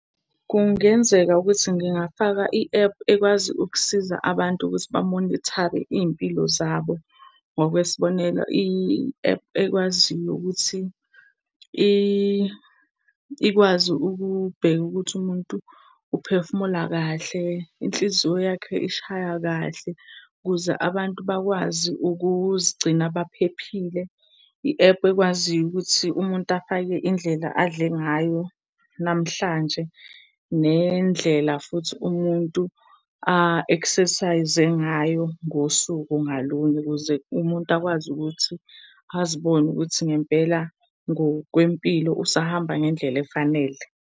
Kungenzeka ukuthi ngingafaka i-app ekwazi ukusiza abantu ukuthi bamonithare iy'mpilo zabo. Ngokwesibonelo, i-app ekwaziyo ukuthi ikwazi ukubheka ukuthi umuntu uphefumula kahle, inhliziyo yakhe ishaya kahle ukuze abantu bakwazi ukuzigcina baphephile. I-app ekwaziyo ukuthi umuntu afake indlela adle ngayo namhlanje nendlela futhi umuntu a-exercise-e ngayo ngosuku ngalunye ukuze umuntu akwazi ukuthi azibone ukuthi ngempela ngokwempilo usahamba ngendlela efanele.